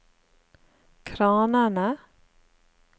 kranene